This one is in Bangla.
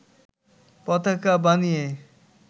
পতাকা বানিয়ে